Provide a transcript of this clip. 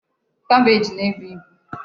Kabeej naebu ibu.